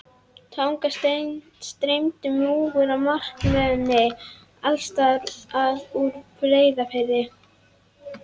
Þangað streymdi múgur og margmenni alls staðar að úr Breiðafirði.